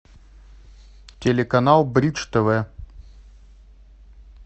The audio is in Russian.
телеканал бридж тв